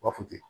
U b'a fɔ ten